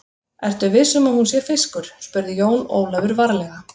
Ertu viss um að hún sé fiskur, spurði Jón Ólafur varlega.